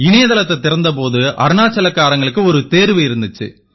இணையதளத்தைத் திறந்த போது அருணாச்சல் காரங்களுக்கு ஒரு தேர்வு இருந்திச்சு